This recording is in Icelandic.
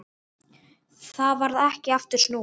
Þá varð ekki aftur snúið.